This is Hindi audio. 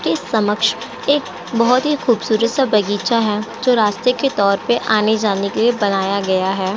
की समक्ष एक बहोत ही खूबसूरत सा बगीचा है जो रास्ते के तौर पे आने-जाने के लिए बनाया गया है।